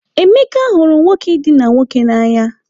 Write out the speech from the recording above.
Emeka hụrụ nwoke idina nwoke n'anya.